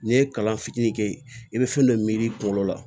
N'i ye kalan fitinin kɛ i bɛ fɛn dɔ miiri i kunkolo la